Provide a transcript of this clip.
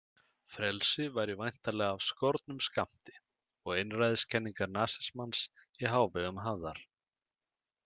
Frelsi væri væntanlega af skornum skammti og einræðiskenningar nasismans í hávegum hafðar.